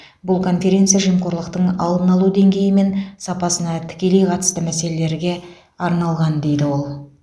бұл конференция жемқорлықтың алдын алу деңгейі мен сапасына тікелей қатысты мәселелерге арналған дейді ол